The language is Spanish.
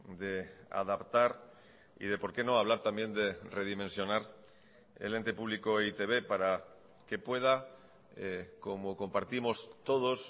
de adaptar y de por qué no hablar también de redimensionar el ente público e i te be para que pueda como compartimos todos